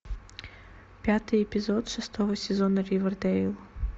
пятый эпизод шестого сезона ривердейл